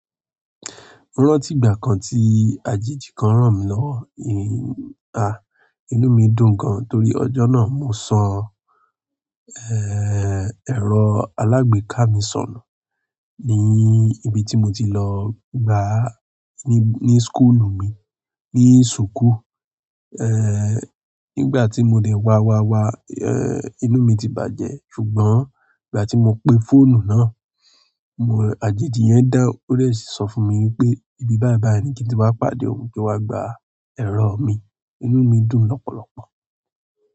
Rántí ìgbà kan tí àjèjì kan ràn mí lọ́wọ́, ha! Inú mi dùn gan torí ọjọ́ náà mo san, eh, ẹ̀rọ alágbèéká mi sọnù ní ibi tí mo ti lọ gba ní, ní skúlù mi, ní súkù. Eh, nígbà tí mo dẹ̀ wá wá wá, eh, inú mi ti bàjẹ́ ṣùgbọ́n ìgbà tí mo pe fóònù náà, àjèjì yẹn dáhùn ó sí sọ fún mi wípé ìbí báìbáiì ni kí ti wá pàdé òun kí ó wá gba ẹ̀rọ mi, inú mi dùn lọ́pọ̀lọpọ̀.